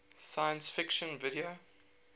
science fiction video